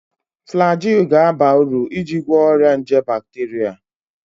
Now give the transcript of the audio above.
Flagyl ga-aba uru n'ịgwọ ọrịa nje bakteria